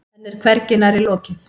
Henni er hvergi nærri lokið.